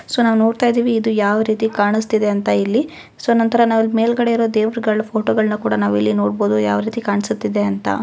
So ನಾವು ನೋಡ್ತಾ ಇದ್ದೀವಿ ಯಾವ ರೀತಿ ಕಾಣುಸ್ತಿದೆ ಅಂತ ಇಲ್ಲಿ ಸೋ ನಂತರ ನಾವ್ ಮೇಲ್ಗಡೆ ಇರುವ ದೇವರುಗಳ ಫೋಟೋಗಳನ್ನ ನಾವು ನೋಡಬಹುದು ಯಾವ ರೀತಿ ಕಾಣಿಸುತ್ತಿದೆ ಅಂತ.